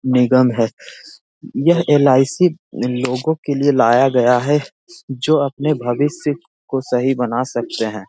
निगम है यह एल.आई.सी. लोगो के लिए लाया गया है जो अपने भविष्य को सही बना सकते है।